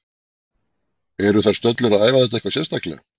Eru þær stöllur að æfa þetta eitthvað sérstaklega?